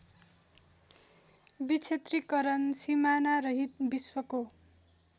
विक्षेत्रीकरण सिमानारहित विश्वको